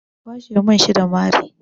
Ka kwashe mun shi da mari!